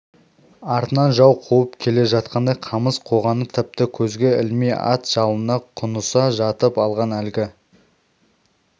артынан жау қуып келе жатқандай қамыс қоғаны тіпті көзге ілмей ат жалына құныса жатып алған әлгі